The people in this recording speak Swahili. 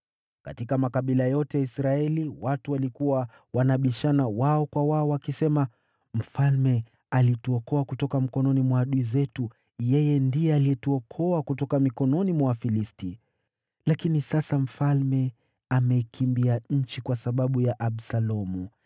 Katika makabila yote ya Israeli, watu walikuwa wanabishana wao kwa wao, wakisema, “Mfalme alituokoa kutoka mikononi mwa adui zetu; ndiye alituokoa kutoka mikononi mwa Wafilisti. Lakini sasa mfalme ameikimbia nchi kwa sababu ya Absalomu,